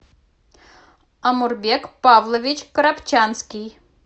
омурбек павлович коробчанский